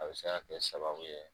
A be se kɛ sababu ye